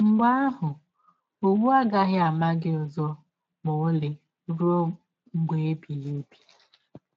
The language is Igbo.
Mgbe ahụ, ọwụ agaghị ama gị ọzọ ma ọlị rụọ mgbe ebighị ebi.